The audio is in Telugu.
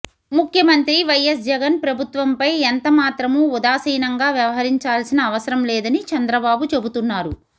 ముఖ్యమంత్రి వైఎస్ జగన్ ప్రభుత్వంపై ఎంత మాత్రమూ ఉదాసీనంగా వ్యవహరించాల్సిన అవసరం లేదని చంద్రబాబు చెబుతున్నారు